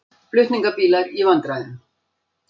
Flutningabílar í vandræðum